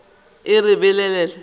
re e be e le